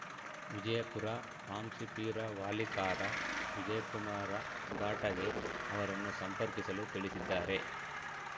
ವಿಜಯಪುರ ಹಾಂಸಿಪೀರ ವಾಲಿಕಾರ ವಿಜಯಕುಮಾರ ಘಾಟಗೆ ಅವರನ್ನು ಸಂಪರ್ಕಿಸಲು ತಿಳಿಸಿದ್ದಾರೆ